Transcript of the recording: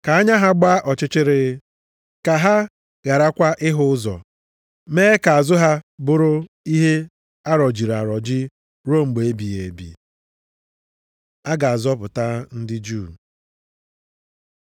Ka anya ha gbaa ọchịchịrị, ka ha gharakwa ịhụ ụzọ. Mee ka azụ ha bụrụ ihe arọjiri arọji ruo mgbe ebighị ebi.” + 11:10 \+xt Abụ 69:22,23\+xt* A ga-azọpụta ndị Juu